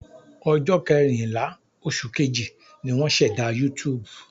Ọjọ́ kẹrìnlá, oṣù Kejì, ni wọ́n ṣẹ̀dá YouTube.